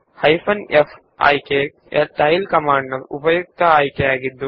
tail command ನ ತುಂಬಾ ಉಪಯುಕ್ತವಾದ ವಿಕಲ್ಪವೆಂದರೆ ಹೈಫೆನ್ ಫ್